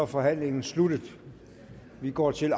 forhandlingen sluttet og vi går til